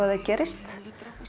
að þeir gerist